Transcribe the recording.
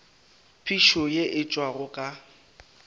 phišo ye e tšwago ka